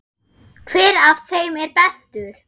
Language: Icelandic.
Hver af þeim er bestur?